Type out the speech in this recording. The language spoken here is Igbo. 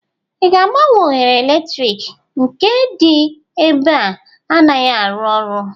ị ga-agbanwe oghere eletrik? nke dị ebe a anaghị arụ ọrụ